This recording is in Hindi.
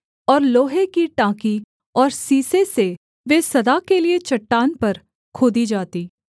और लोहे की टाँकी और सीसे से वे सदा के लिये चट्टान पर खोदी जातीं